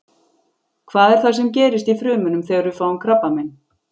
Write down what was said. Hvað er það sem gerist í frumunum þegar við fáum krabbamein?